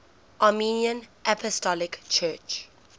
armenian apostolic church